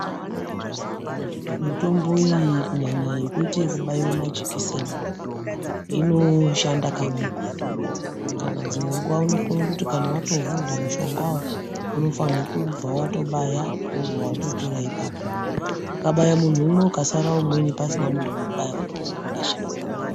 Mitombo iyi kunyanya yekuite yekubaiwa majekiseni inoshanda kamweko. Kana dzimwe nguwa inokona kuti kana yatovhurwa mushongawo unofanirwe kubva vatobaya wobva watopera ipapo. Ukabaya muntu umwe pakasara umweni pasina muntu wokubaya watowe wekurasha.